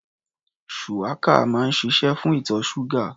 Shuwaka máa ń ṣiṣé fún ìtọ̀ ṣúgà.